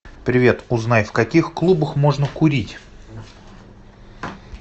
привет узнай в каких клубах можно курить